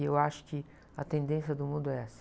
E eu acho que a tendência do mundo é essa.